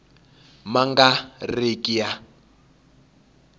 ma nga ri ki ya